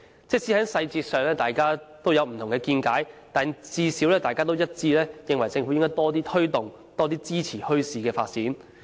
即使在細節上大家持不同見解，但最少一致認為政府應該多推動及支持墟市的發展。